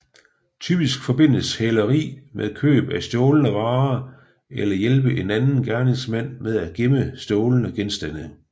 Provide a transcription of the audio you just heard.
Typisk forbindes hæleri med køb af stjålne varer eller hjælpe en anden gerningsmand med at gemme stjålne genstande